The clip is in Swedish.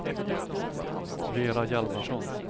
Vera Hjalmarsson